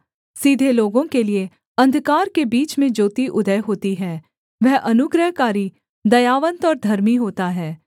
सीधे लोगों के लिये अंधकार के बीच में ज्योति उदय होती है वह अनुग्रहकारी दयावन्त और धर्मी होता है